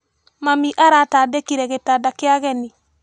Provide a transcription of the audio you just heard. Mami aratandĩkire gĩtanda kia ageni.